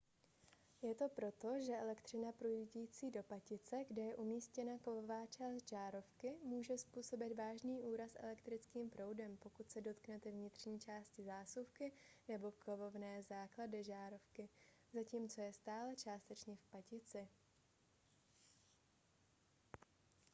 je to proto že elektřina proudící do patice kde je umístěna kovová část žárovky může způsobit vážný úraz elektrickým proudem pokud se dotknete vnitřní části zásuvky nebo kovové základny žárovky zatímco je stále částečně v patici